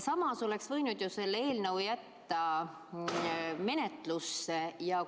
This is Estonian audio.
Samas oleks võinud ju eelnõu menetlusse jätta.